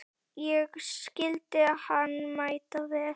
Ég skildi hann mæta vel.